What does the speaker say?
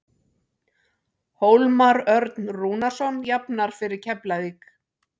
Hólmar Örn Rúnarsson jafnar fyrir Keflavík.